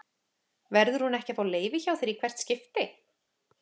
Verður hún ekki að fá leyfi hjá þér í hvert skipti?